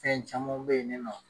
Fɛn camanw bɛ ye ni nɔ.